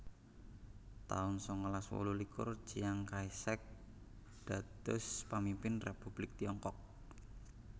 taun sangalas wolulikur Chiang Kai shek dados pamimpin Republik Tiongkok